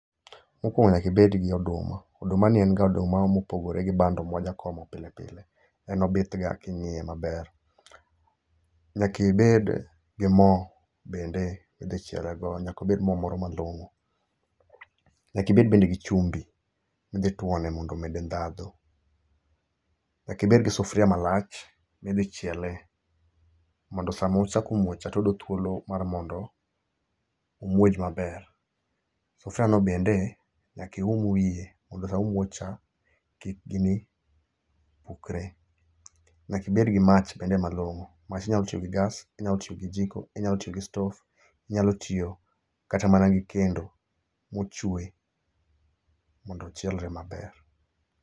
Mokwongo nyaka ibed gi oduma. Oduma ni en ga oduma ma opogore bi bando ma wajakomoga pile pile. En obithga kingíye maber. Nyaka ibed gi moo bende midhi chiele go, nyaka obed moo moro malongó. Nyaka ibed bende gi chumbi, midhitwone mondo omede ndhadhu. Nyaka ibed gi sufria malach, midhi chiele, mondo sa ma ochako muoch cha to oyudo thuolo mar mondo omuoj maber. Sufria no bende, nyaka ium wiye, mondo sama omuoch cha, kik gini pukre. Nyaka ibed gi mach bende malongó. Mach inyalo tiyo gi gas, inyalo tiyo gi jiko, inyalo tiyo gi stove, inyalo tiyo kata mana gi kendo mochwe, mondo ochielre maber.